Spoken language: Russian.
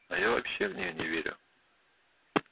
а я вообще в нее не верю